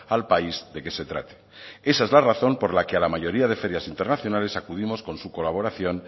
al país de que se trate y esa es la razón por la que a la mayoría de ferias internacionales acudimos con su colaboración